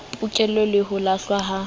pokello le ho lahlwa ha